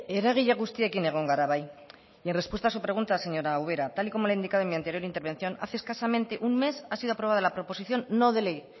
eragile guztiekin egon gara bai mi respuesta a su pregunta señora ubera tal y como le he indicado en mi anterior intervención hace escasamente un mes ha sido aprobada la proposición no de ley